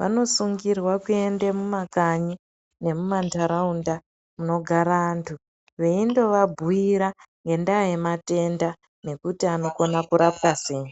vanosungirwa kuenda kumakanyi nemumandaraunda kunogara antu vaindovabhuira ngenyaya yematenda nekuti anokona kurapiwa sei.